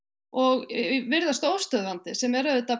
og virðast óstöðvandi sem er auðvitað